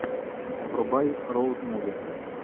врубай роуд муви